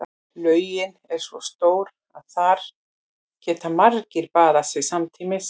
Laugin er svo stór að þar geta margir baðað sig samtímis.